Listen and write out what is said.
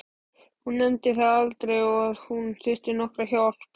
Hún nefndi það aldrei að hún þyrfti nokkra hjálp.